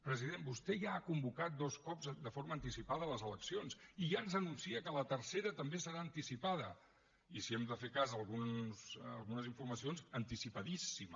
president vostè ja ha convocat dos cops de forma anticipada les eleccions i ja ens anuncia que la tercera també serà anticipada i si hem de fer cas d’algunes informacions anticipadíssima